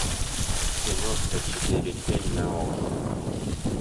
киношка четыре кей на окко